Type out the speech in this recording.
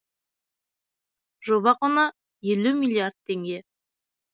жоба құны елу миллиард теңге